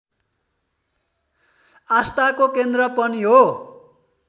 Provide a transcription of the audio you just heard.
आस्थाको केन्द्र पनि हो